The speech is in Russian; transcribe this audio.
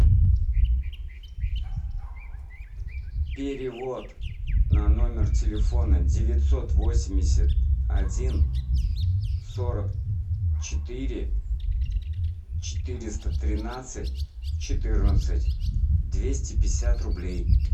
перевод на номер телефона девятьсот восемьдесят один сорок четыре четыреста тринадцать четырнадцать двести пятьдесят рублей